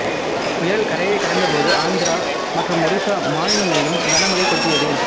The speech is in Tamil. புயல் கரையை கடந்த போது ஆந்திரா மற்றும் ஒடிசா மாநிலங்களிலும் கனமழை கொட்டியது